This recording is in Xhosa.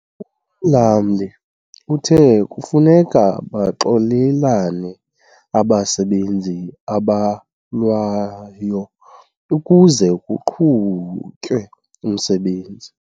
Umlamli uthe kufuneka baxolelane abasebenzi abalwayo ukuze kuqhutywe umsebenzi.